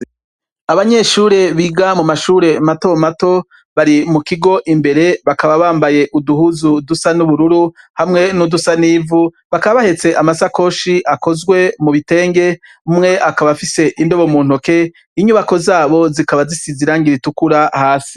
Abanyeshure biga mu mashure mato mato, bari mu kigo imbere. Bakaba bambaye uduhuzu dusa n'ubururu, hamwe n'udusa n'ivu. Bakaba bahetse amasakoshi akozwe mu bitenge, umwe akaba afise indobo mu ntoki. Inyubako z'abo zikaba zisize irangi ritukura hasi.